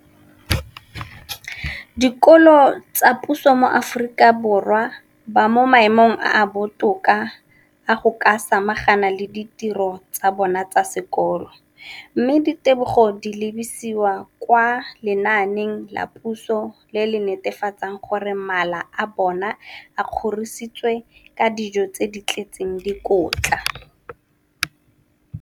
dikolo tsa puso mo Aforika Borwa ba mo maemong a a botoka a go ka samagana le ditiro tsa bona tsa sekolo, mme ditebogo di lebisiwa kwa lenaaneng la puso le le netefatsang gore mala a bona a kgorisitswe ka dijo tse di tletseng dikotla.